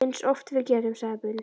Eins oft og við getum, sagði Bill.